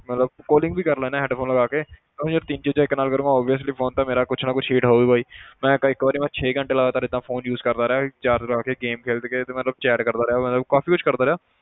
ਮਤਲਬ calling ਵੀ ਕਰ ਲੈਨਾ headphone ਲਗਾ ਕੇ ਤਾਂ ਯਾਰ ਤਿੰਨ ਚੀਜ਼ਾਂ ਇੱਕ ਨਾਲ ਕਰਾਂਗਾ obviously phone ਤਾਂ ਮੇਰਾ ਕੁਛ ਨਾ ਕੁਛ heat ਹੋਊਗਾ ਹੀ ਮੈਂ ਇੱਕ ਇੱਕ ਵਾਰੀ ਮੈਂ ਛੇ ਘੰਟੇ ਲਗਾਤਾਰ ਏਦਾਂ phone use ਕਰਦਾ ਰਿਹਾ charge ਲਾ ਕੇ game ਖੇਲਦੇ ਖੇਲਦੇ ਮੈਂ chat ਕਰਦਾ ਰਿਹਾ ਮਤਲਬ ਕਾਫ਼ੀ ਕੁਛ ਕਰਦਾ ਰਿਹਾ